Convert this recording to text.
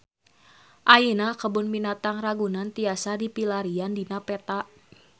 Ayeuna Kebun Binatang Ragunan tiasa dipilarian dina peta